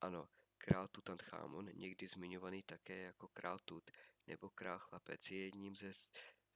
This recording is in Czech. ano král tutanchamón někdy zmiňovaný také jako král tut nebo král chlapec je jedním ze